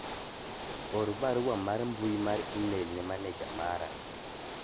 or barua mar mbui mar email ne maneja mara